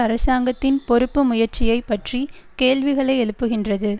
அரசாங்கத்தின் பொறுப்பு முயற்சியை பற்றி கேள்விகளை எழுப்புகின்றது